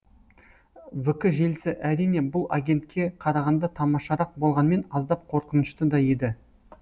вк желісі әрине бұл агентке қарағанта тамашарақ болғанмен аздап қорқынышты да еді